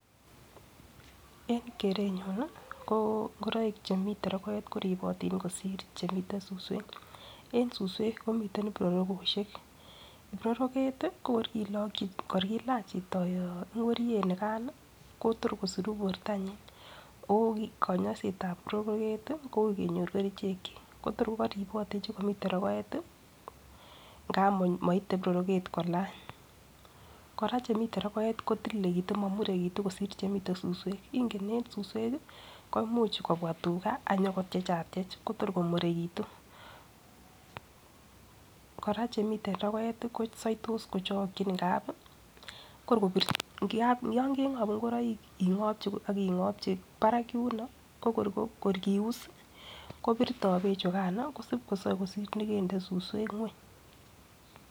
En kerenyun nii ko ingoroik chemiten rogoet rokoet koribotin kosir chemiten suswek en suswek komiten ibrorokoshek, ibroroket tii ko kor kiloki kor kilach chito ingoriet nikan nii Kotor kosiru bortanyin okonyoisetsb broroket kou kenyor kerichek chik ko tor ko koribotin chukomitn rogoet tii ngap moite ibroroket kolany. Koraa chemiten rogoet kotililekitun momurekitu kosir chemiten suswek ingen en suswek. Ingen en suswek ko imuch kobwa tugaa konyo kotyechatye Kotor komurekitu. Kora chemiten rogoet kosoitos kochokin ngapi kor ko yon kengobu ingoroik ingopchi ak ingobchi barak yuno kor kius koborto beek chukano kosib kosoe kosir nekende suswek ngweny.